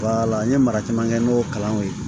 n ye mara caman kɛ n'o kalanw ye